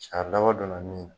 Cɛ a laban dɔn na min?